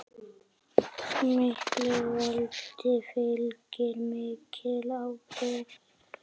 Miklu valdi fylgir mikil ábyrgð.